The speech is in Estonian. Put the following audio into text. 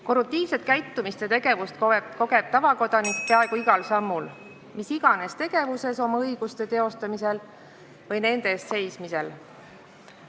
Korruptiivset käitumist ja tegevust kogeb tavakodanik peaaegu igal sammul mis iganes tegevuses oma õiguste teostamisel või nende eest seismisel.